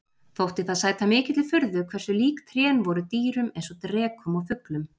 Þótti það sæta mikilli furðu hversu lík trén voru dýrum eins og drekum og fuglum.